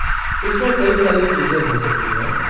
इसमें कई सारी चीजें हो सकती हैं।